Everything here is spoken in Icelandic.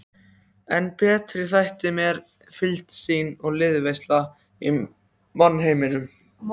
En betri þætti mér fylgd þín og liðveisla í mannheimum.